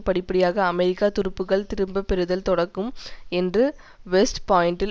படிப்படியாக அமெரிக்க துருப்புக்கள் திரும்ப பெறுதல் தொடங்கும் என்று வெஸ்ட் பாயின்டில்